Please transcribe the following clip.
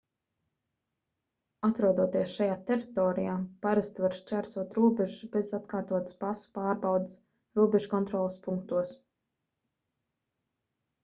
atrodoties šajā teritorijā parasti var šķērsot robežas bez atkārtotas pasu pārbaudes robežkontroles punktos